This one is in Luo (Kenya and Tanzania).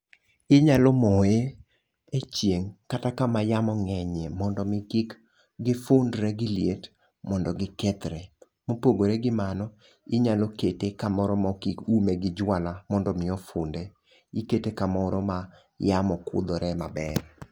Inyalo moye e chieng' kata kama yamo ng'enyie mondo mi kik gifundre gi liet mondo gikethre. Mopogore gi mano ,inyalo kete kamoro mok iume gi jwala mondo mi ofunde. Ikete kamoro ma yamo kudhore maber.